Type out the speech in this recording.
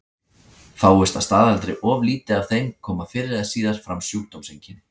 Fáist að staðaldri of lítið af þeim koma fyrr eða síðar fram sjúkdómseinkenni.